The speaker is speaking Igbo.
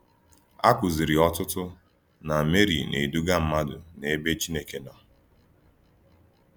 A kụziri ọtụtụ na Meri na-eduga mmadụ n’ebe Chineke nọ.